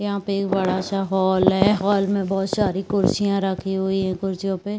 यहाँ पे एक बड़ा सा हॉल है हॉल में बहोत सारी कुर्सियां रखी हुई है कुर्सियों पे--